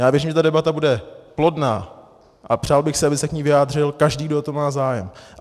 Já věřím, že ta debata bude plodná, a přál bych si, aby se k ní vyjádřil každý, kdo o to má zájem.